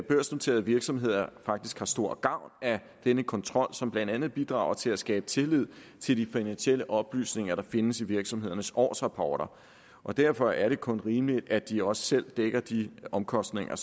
børsnoterede virksomheder faktisk har stor gavn af denne kontrol som blandt andet bidrager til at skabe tillid til de finansielle oplysninger der findes i virksomhedernes årsrapporter og derfor er det kun rimeligt at de også selv dækker de omkostninger